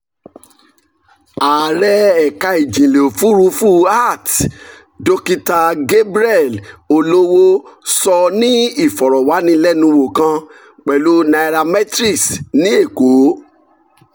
ààrẹ ẹ̀ka ìjìnlẹ̀ òfuurufú (art) dokita gabriel olowo sọ ní ìfọ̀rọ̀wánilẹ́nuwò kan pẹ̀lú nairametrics ní èkó.